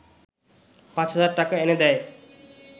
পাঁচ হাজার টাকা এনে দেয়